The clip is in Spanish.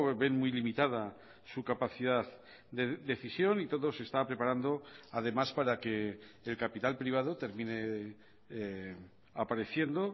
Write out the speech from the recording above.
ven muy limitada su capacidad de decisión y todo se está preparando además para que el capital privado termine apareciendo